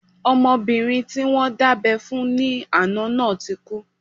Ọmọbìnrin tí wọ́n dábẹ́ fún ní àná náà ti kú